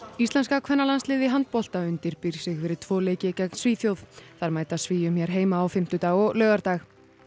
íslenska kvennalandsliðið í handbolta undirbýr sig fyrir tvo leiki gegn Svíþjóð þær mæta Svíum hér heima á fimmtudag og laugardag